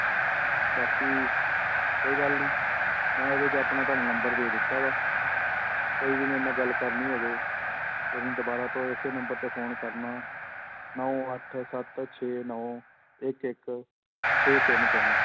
ਬਾਕੀ ਕੋਈ ਗੱਲ ਨੀ ਮੈਂ ਇਹਦੇ 'ਚ ਆਪਣਾ ਤੁਹਾਨੂੰ number ਦੇ ਦਿੱਤਾ ਵਾ ਕੋਈ ਜੇ ਮੇਰੇ ਨਾਲ ਗੱਲ ਕਰਨੀ ਹੋਵੇ ਤੁਸੀਂ ਦੁਬਾਰਾ ਤੋਂ ਇਸੇ number ਤੇ phone ਕਰਨਾ, ਨੋਂ ਅੱਠ ਸੱਤ ਛੇ ਨੋਂ ਇੱਕ ਇੱਕ ਛੇ ਤਿੰਨ ਤਿੰਨ।